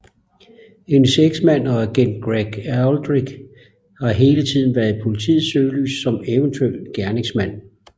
Hendes eksmand og agent Gregg Aldrich har hele tiden været i politiets søgelys som eventuel gerningsmand